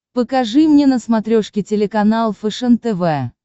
покажи мне на смотрешке телеканал фэшен тв